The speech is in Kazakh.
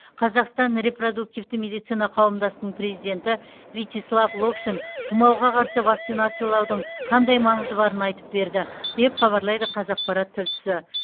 қазақстан репродуктивті медицина қауымдастығының президенті вячеслав локшин тұмауға қарсы вакцинациялаудың қандай маңызы барын айтып берді деп хабарлайды қазақпарат тілшісі